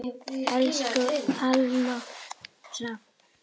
Elsku Almar Hrafn.